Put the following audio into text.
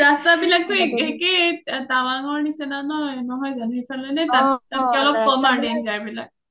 ৰাস্তা বিলাকটো একে একেই টাৱাংৰ নিচিনা ন? নহয় জানো ? নে কম আৰু তাতকে danger বিলাক ?